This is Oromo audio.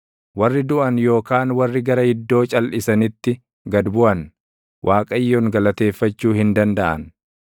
Warri duʼan yookaan warri gara iddoo calʼisanitti gad buʼan Waaqayyoon galateeffachuu hin dandaʼan;